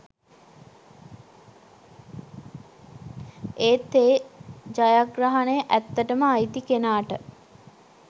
ඒත් ඒ ජයග්‍රහණය ඇත්තටම අයිති කෙනාට